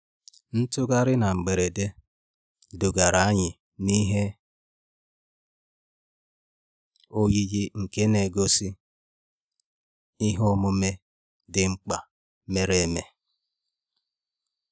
Ntugharị na mberede dugara anyị n'ihe oyiyi nke na-egosi ihe omume dị mkpa mere eme